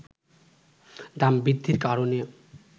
দাম বৃদ্ধির কারণে